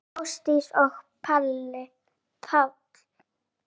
Kveðja Ásdís og Páll.